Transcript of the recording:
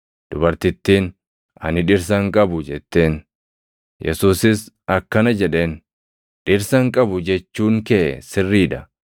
Dubartittiin, “Ani dhirsa hin qabu” jetteen. Yesuusis akkana jedheen; “Dhirsa hin qabu jechuun kee sirrii dha;